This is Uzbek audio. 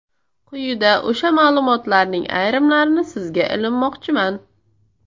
Quyida o‘sha ma’lumotlarning ayrimlarini sizga ilinmoqchiman.